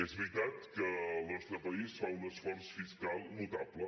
és veritat que el nostre país fa un esforç fiscal notable